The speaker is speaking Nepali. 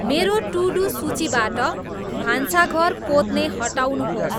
मेरो टु डु सूचिबाट भान्साघर पोत्ने हटाउनुहोस्